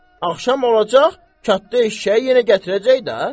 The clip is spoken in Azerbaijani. Axşam olacaq, kəndə eşşək yenə gətirəcək də.